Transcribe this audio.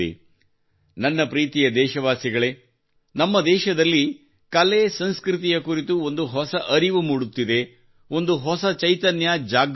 ನನ್ನ ಪ್ರೀತಿಯ ದೇಶವಾಸಿಗಳೇ ನಮ್ಮ ದೇಶದಲ್ಲಿ ಕಲೆಸಂಸ್ಕೃತಿಯ ಕುರಿತು ಒಂದು ಹೊಸ ಅರಿವು ಮೂಡುತ್ತಿದೆ ಒಂದು ಹೊಸ ಚೈತನ್ಯ ಜಾಗೃತವಾಗುತ್ತಿದೆ